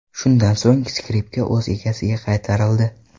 Shundan so‘ng, skripka o‘z egasiga qaytarildi.